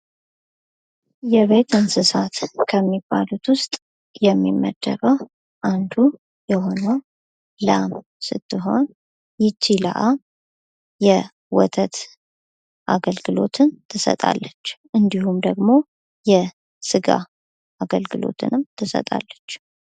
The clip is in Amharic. የቤት እንስሳት ከሚባሉት ውስጥ የሚመደበው አንዱ የሆነው ላም ስትሆን ይች ላም የወተት አገልግሎትን ትሰጣለች እንዲሁም ደግሞ የስጋ አገልግሎትንም ትሰጣለች።